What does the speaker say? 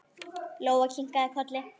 Lóa kinkaði kolli.